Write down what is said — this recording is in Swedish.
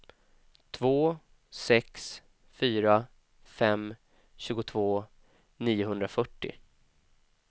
två sex fyra fem tjugotvå niohundrafyrtio